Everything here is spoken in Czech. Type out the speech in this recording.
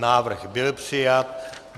Návrh byl přijat.